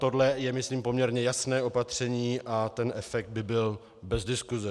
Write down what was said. Tohle je, myslím, poměrně jasné opatření a ten efekt by byl bez diskuse.